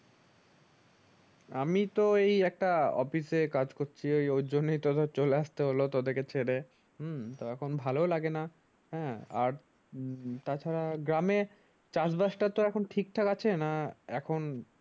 আমি তো এই একটা office এ কাজ করছি ওইজন্য তো ধর চলে আসতে হলো তোদিকে ছেড়ে হম তো এখন ভালো লাগেনা হ্যাঁ আর তাছাড়া গ্রামে চাষ বাস তা এখন ঠিকঠাক আছে না এখন ।